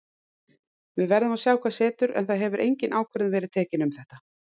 Við verðum að sjá hvað setur en það hefur engin ákvörðun verið tekin um þetta.